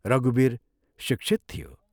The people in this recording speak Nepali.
रघुवीर शिक्षित थियो।